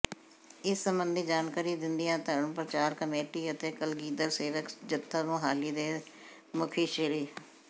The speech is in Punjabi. ਇਸ ਸਬੰਧੀ ਜਾਣਕਾਰੀ ਦਿੰਦਿਆਂ ਧਰਮ ਪ੍ਰਚਾਰ ਕਮੇਟੀ ਅਤੇ ਕਲਗੀਧਰ ਸੇਵਕ ਜਥਾ ਮੁਹਾਲੀ ਦੇ ਮੁਖੀ ਸ੍ਰ